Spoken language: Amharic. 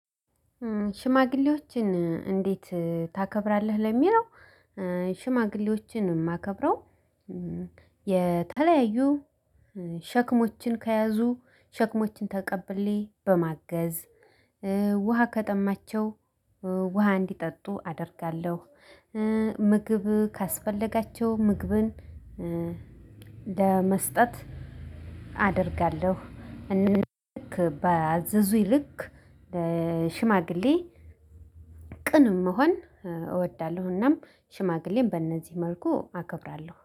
ሽማግሌዎችን እንዴት ታከብራለህ ለሚለው ሽማግሌዎችን የማከብረው የተለያዩ ሸክሞችን ከያዙ ሸክሞችን ተቀብሌ በማገዝ፤ ውሃ ከጠማቸው ውሃ እንዲጠጡ አደርጋለሁ፤ ምግብ ካስፈለጋቸው ምግብን ለመስጠት አደርጋለሁ እንደ ባዘዙኝ ልክ ሽማግሌ ቅን መሆን እወዳለሁ እናም ሽማግሌን በእነዚህ መልኩ አከብራለሁ።